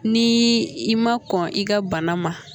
Ni i ma kɔn i ka bana ma